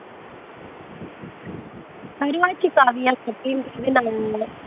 கருவாச்சி காவியம் அப்படின்னுட்டு சொல்லி நானு